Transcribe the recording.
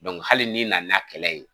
hali ni nana n'a kɛlɛ ye